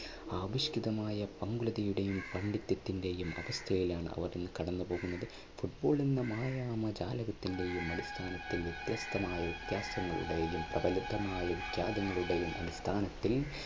ആവിഷ്കിതമായ പങ്കുലതയുടെയും പാണ്ഡിത്യത്തിന്റെയും അവസ്ഥയിലാണ് അവർ ഇന്ന് കടന്നുപോകുന്നത്. football എന്ന മായ ജാലകത്തിന്റെയും അടിസ്ഥാനത്തിൽ